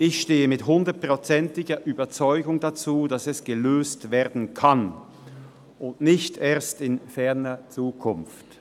Ich stehe mit 100-prozentiger Überzeugung dazu, dass es gelöst werden kann, und nicht erst in ferner Zukunft.